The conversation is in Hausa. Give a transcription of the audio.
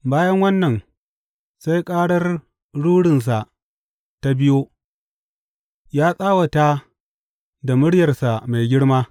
Bayan wannan sai ƙarar rurinsa ta biyo; Ya tsawata da muryarsa mai girma.